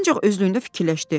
Ancaq özlüyündə fikirləşdi.